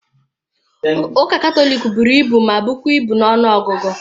Ụka Katọlik buru ibu ma bụkwa ibu na ọnụọgụ.